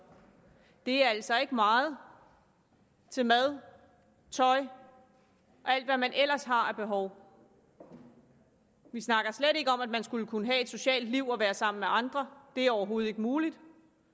er altså ikke meget til mad tøj og alt hvad man ellers har af behov vi snakker slet ikke om at man skulle kunne have et socialt liv og være sammen med andre det er overhovedet ikke muligt